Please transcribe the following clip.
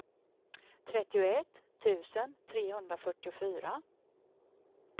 trettioett tusen trehundrafyrtiofyra